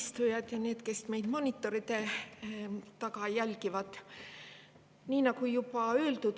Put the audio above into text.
kes meid monitoride taga jälgivad!